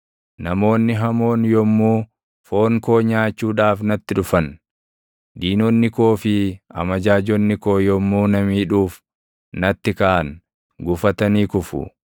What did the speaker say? Namoonni hamoon yommuu foon koo nyaachuudhaaf natti dhufan, diinonni koo fi amajaajonni koo yommuu na miidhuuf natti kaʼan, gufatanii kufu.